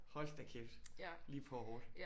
Hold da kæft lige på og hårdt